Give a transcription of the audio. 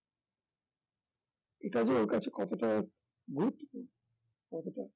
এটা যে ওর কাছে কতটা গুরুত্বপূর্ণ কতটা